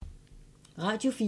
Radio 4